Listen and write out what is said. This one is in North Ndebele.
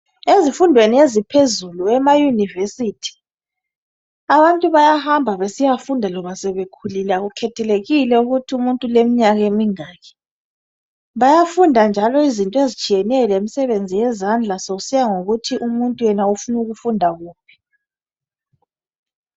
Ezifumdweni eziphezulu emayunivesithi, abantu bayahamba besiyafunda loba sebekhulile akukhethelekile ukuthumuntu uleminyakemingaki, bayafunda njalo izinto ezitshiyeneyo lemisebenzi yezandla kusiyangokuthi umuntu yena ufunukufunda kuphi.